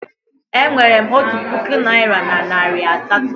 Enwerem otu puku naira na nari asatọ